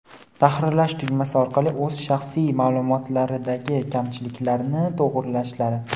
tahrirlash tugmasi orqali o‘z shaxsiy ma’lumotlaridagi kamchiliklarni to‘g‘irlashlari;.